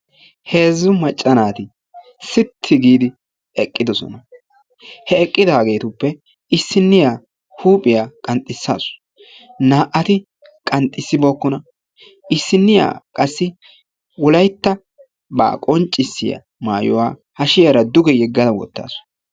Heezzu macca naati sitti giidi eqqidoosona He eqqidaagetuppe issiniyaa huuphiyaa qanxxisaasu naa''ati qanxxisibookkona. Issiniya qassi Wolyttaba qonccissiya maayuwaa hashshiyaara duge yegadda wottawus.